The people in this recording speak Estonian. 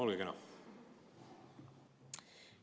Olge kena!